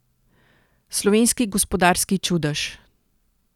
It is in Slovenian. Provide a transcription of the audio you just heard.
Slovenski gospodarski čudež.